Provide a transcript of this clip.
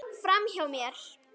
Framhjá mér.